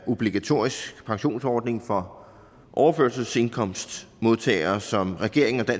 af obligatorisk pensionsordning for overførselsindkomstmodtagere som regeringen og